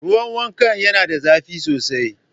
Ruwan wanka yana da zafi sosai.